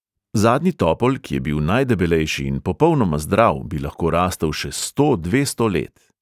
Zadnji topol, ki je bil najdebelejši in popolnoma zdrav, bi lahko rastel še sto, dvesto let.